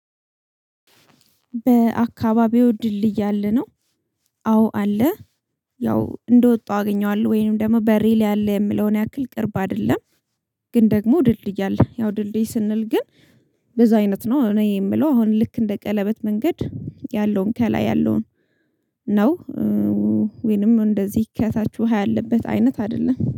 በአካባቢው ድልድል አለ ነው። አዎ አለ። ያው እንደወጣው አገኘዋለሁ ወይም ደግሞ በሬ ላይ አለ የምለውን ያክል ቅርብ አይደለም። ግን ደግሞ ድልድይ አለ ያው ድልድይ ስንል ግን ብዙ አይነት ነው እኔ የምለው አሁን ልክ እንደ ቀለበት መንገድ ያለውን ከላይ ያለውን ነው። ወይንም እንደዚህ ከታች ውሃ ያለበት አይነት አይደለም